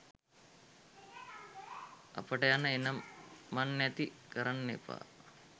අපට යන එන මන් නැති කරන්න එපා.